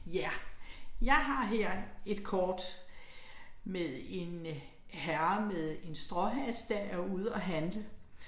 Ja. Jeg har her et kort med en herre med en stråhat, der er ude og handle